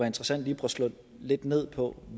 interessant lige at få slået lidt ned på